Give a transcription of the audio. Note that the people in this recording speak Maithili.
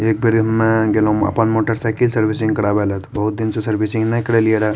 एक बेर एमे गेलो अपन मोटरसाइकिल सर्विसिंग करावे ले ते बहुत दिन से सर्विसिंग ने करेलिये रहे --